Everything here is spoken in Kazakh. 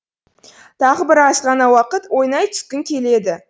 тағы бір азғана уақыт ойнай түскің келеді